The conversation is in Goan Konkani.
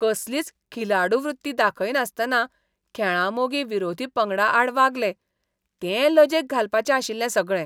कसलीच खिलाडू वृत्ती दाखयनासतना खेळां मोगी विरोधी पंगडाआड वागले, तें लजेक घालपाचें आशिल्लें सगळें.